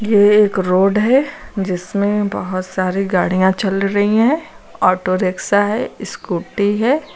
ये एक रोड है जिसमें बोहोत सारी गाड़ियां चल रही हैं। ऑटो रिक्शा हैं स्कूटी हैं।